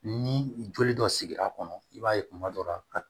Ni joli dɔ sigira a kɔnɔ i b'a ye kuma dɔ la